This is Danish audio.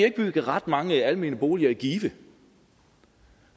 ikke bygget ret mange almene boliger i give det